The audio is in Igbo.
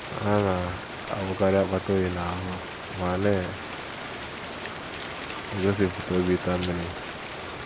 Ha na - awụkarị akpata oyi n’ahụ́ ma na - egosipụta obi ịta mmiri.